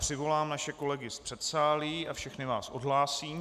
Přivolám naše kolegy z předsálí a všechny vás odhlásím.